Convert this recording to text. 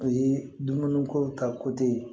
O ye dumuni ko ta